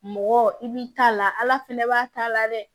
Mɔgɔ i b'i ta la ala fɛnɛ b'a t'a la dɛ